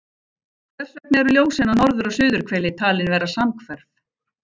Hvers vegna eru ljósin á norður- og suðurhveli talin vera samhverf?